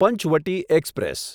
Panchavati express